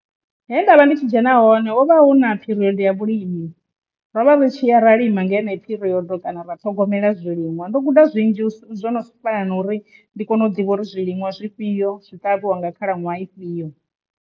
He nda vha ndi tshi dzhena hone hu vha hu na pheriodo ya vhulimi ro vha ri tshi ya ra lima nga heneyi phirodo kana ra ṱhogomela zwiliṅwa ndo guda zwinzhi zwo no fana na uri ndi kone u ḓivha uri zwiliṅwa zwifhio zwi ṱavhiwa nga khalaṅwaha ifhio.